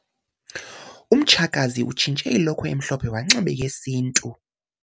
Umtshakazi utshintshe ilokhwe emhlophe wanxiba eyesintu.